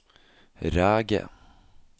Ræge